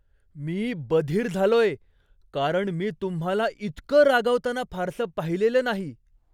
मी बधीर झालोय, कारण मी तुम्हाला इतकं रागावताना फारसं पाहिलेलं नाही.